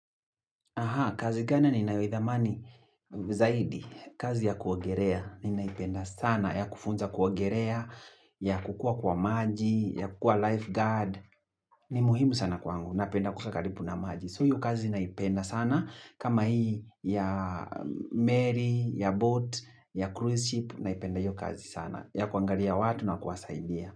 Aha, kazi gani ninayo idhamani zaidi, kazi ya kuogerea, ni naipenda sana, ya kufunza kuogerea, ya kukuwa kwa maji, ya kukuwa lifeguard, ni muhimu sana kwangu, napenda kukaa kalibu na maji. So iyo kazi naipenda sana, kama hii ya Mary, ya boat, ya cruise ship, naipenda iyo kazi sana, ya kuangalia watu na kuwasaidia.